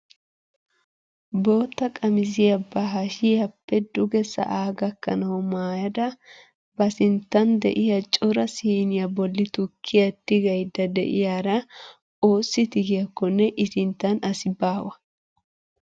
Bootta qamisiyaa ba hashiyaappe duge sa'aa gakkanawu maayada ba sinttan de'iyaa cora siiniyaa bolli tukkiyaa tigayda de'iyaara oossi tigiyaakonne i sinttan asi baawa!